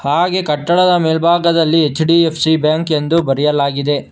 ಹಾಗೆ ಕಟ್ಟಡದ ಮೇಲ್ಭಾಗದಲ್ಲಿ ಎಚ್_ಡಿ_ಎಫ್_ಸಿ ಬ್ಯಾಂಕ್ ಎಂದು ಬರೆಯಲಾಗಿದೆ.